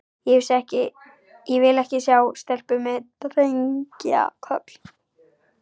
Ég vil ekki sjá stelpu með drengja- koll.